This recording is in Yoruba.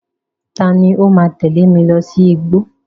Ta ni ó ,máa tẹ̀lé mi sí igbó?